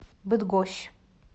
быдгощ